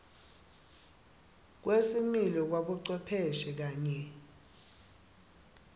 kwesimilo kwabocwepheshe kanye